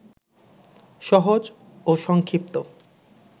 সহজ ও সংক্ষিপ্ত